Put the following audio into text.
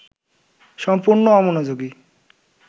সম্পূর্ণ অমনোযোগী